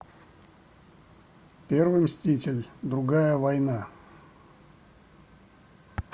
первый мститель другая война